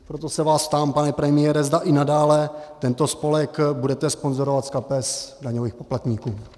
Proto se vás ptám, pane premiére, zda i nadále tento spolek budete sponzorovat z kapes daňových poplatníků?